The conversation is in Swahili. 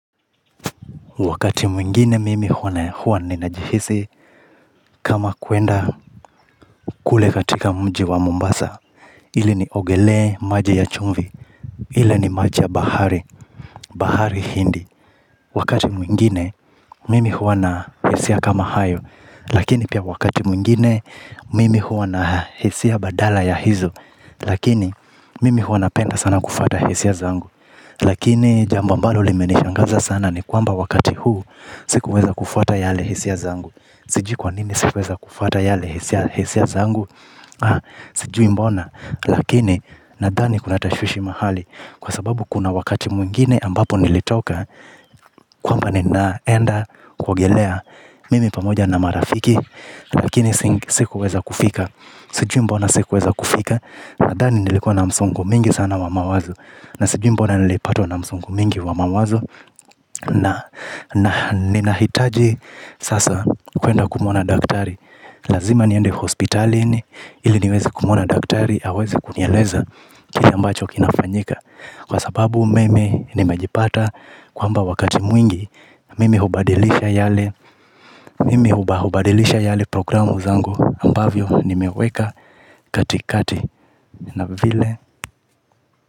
Wakati mwingine mimi huwana huwa ninajihisi kama kuenda kule katika mji wa Mombasa, ili niogelee maji ya chumvi, ili ni maji ya bahari, bahari hindi. Wakati mwingine mimi huwa na hisia kama hayo, lakini pia wakati mwingine mimi huwa na hisia badala ya hizo, lakini mimi huwa napenda sana kufata hisia zangu. Lakini jambo ambalo limenishangaza sana ni kwamba wakati huu sikuweza kufuata yale hisia zangu. Sijui kwa nini sikuweza kufuata yale hisia zangu. Sijui mbona lakini nadhani kuna tashwishi mahali. Kwa sababu kuna wakati mwingine ambapo nilitoka kwamba ninaenda kuogelea mimi pamoja na marafiki. Lakini sikuweza kufika. Sijui mbona sikuweza kufika. Nadhani nilikuwa na msongo mwingi sana wa mawazo. Na sijui mbona nilipatwa na msongo mingi wa mawazo. Na nina hitaji sasa kwenda kumuona daktari. Lazima niende hospitalini. Ili niweze kumwona daktari aweze kunieleza kile ambacho kinafanyika. Kwa sababu mimi nimejipata kwamba wakati mwingi mimi hubadilisha yale mimi hubadilisha yale programu zangu ambavyo nimeweka katikati. Na vile.